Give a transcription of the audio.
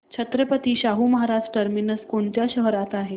Chhatrapati Shahu Maharaj terminus कोणत्या शहरात आहे